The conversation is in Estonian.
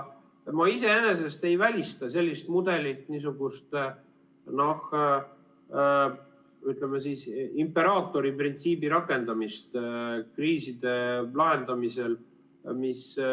Ma iseenesest ei välista sellist mudelit, niisugust, ütleme, imperaatori printsiibi rakendamist kriiside lahendamisel.